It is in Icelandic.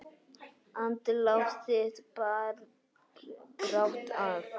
Andlát þitt bar brátt að.